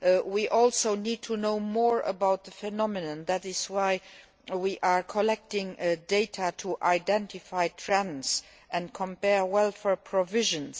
We also need to know more about the phenomenon, which is why we are collecting data to identify trends and compare welfare provisions.